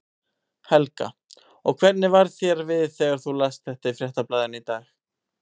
Helga: Og hvernig varð þér við þegar þú last þetta í Fréttablaðinu í dag?